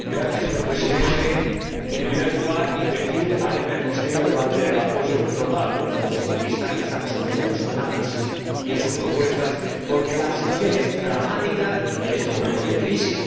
Señor Presidente, en primer lugar, quiero decir a Emer Costello que va a tener el apoyo total del Grupo socialista, que estamos con ella en su análisis y en sus propuestas, porque la situación es dramática en estos momentos de crisis.